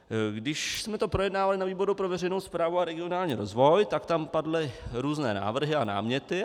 Když jsme to projednávali na výboru pro veřejnou správu a regionální rozvoj, tak tam padly různé návrhy a náměty.